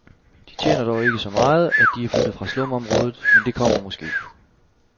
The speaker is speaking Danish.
De tjener dog ikke så meget, at de er flyttet fra slumområdet, men det kommer måske.